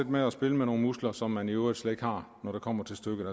med at spille med nogle muskler som man i øvrigt slet ikke har når det kommer til stykket